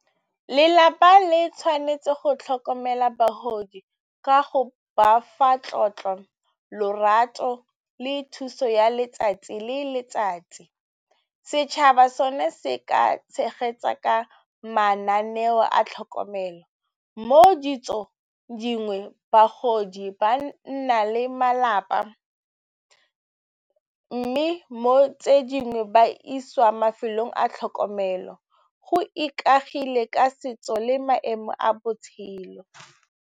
Lelapa le tshwanetse go tlhokomela bagodi ka go ba fa tlotlo, lorato le thuso ya letsatsi, le letsatsi. Setšhaba sone se ka tshegetsa ka mananeo a tlhokomelo. Mo ditsong dingwe bagodi ba nna le malapa, mme mo tse dingwe ba isiwa mafelong a tlhokomelo go ikaegile ka setso le maemo a botshelo.